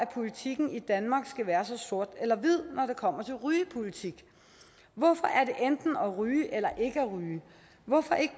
politik i danmark skal være så sort hvid når det kommer til rygepolitik hvorfor enten om at ryge eller ikke at ryge hvorfor ikke